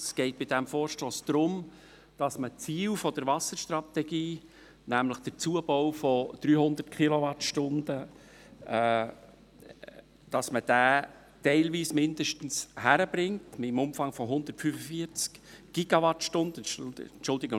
Es geht bei diesem Vorstoss darum, dass man die Ziele der Wasserstrategie, nämlich den Zubau von 300 Kilowattstunden, zumindest teilweise im Umfang von 145 Gigawattstunden hinkriegt.